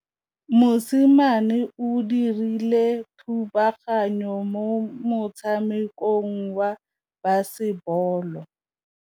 Mosimane o dirile thubaganyô mo motshamekong wa basebôlô.